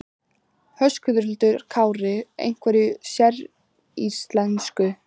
Höskuldur Kári: Einhverju séríslensku?